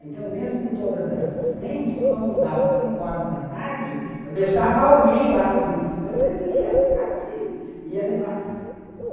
Então, mesmo com todas essas frentes, quando dava cinco horas da tarde, eu deixava alguém lá com as minhas coisas e ia buscar filhos, ia levar.